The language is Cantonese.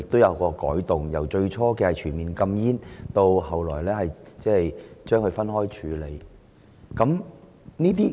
政府最初提出全面禁煙，但其後分開處理此事。